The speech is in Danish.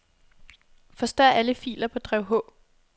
Forstør alle filer på drev H.